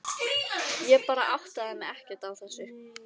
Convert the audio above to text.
Ég bara áttaði mig ekkert á þessu.